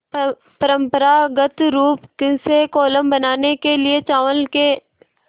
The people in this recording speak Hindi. परम्परागत रूप से कोलम बनाने के लिए चावल के